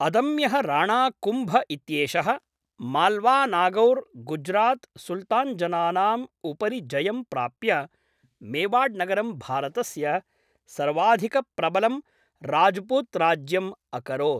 अदम्यः राणा कुम्भ इत्येषः माल्वानागौर् गुज्रात् सुल्तान्जनानाम् उपरि जयं प्राप्य, मेवाड्नगरं भारतस्य सर्वाधिकप्रबलं राज्पुत्राज्यम् अकरोत्।